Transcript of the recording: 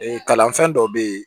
Ee kalanfɛn dɔw bɛ ye